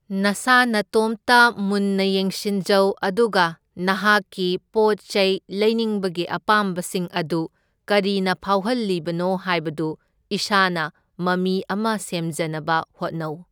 ꯅꯁꯥ ꯅꯇꯣꯝꯇ ꯃꯨꯟꯅ ꯌꯦꯡꯁꯤꯟꯖꯧ ꯑꯗꯨꯒ ꯅꯍꯥꯛꯀꯤ ꯄꯣꯠ ꯆꯩ ꯂꯩꯅꯤꯡꯕꯒꯤ ꯑꯄꯥꯝꯕꯁꯤꯡ ꯑꯗꯨ ꯀꯔꯤꯅ ꯐꯥꯎꯍꯜꯂꯤꯕꯅꯣ ꯍꯥꯏꯕꯗꯨ ꯏꯁꯥꯅ ꯃꯃꯤ ꯑꯃ ꯁꯦꯝꯖꯅꯕ ꯍꯣꯠꯅꯧ꯫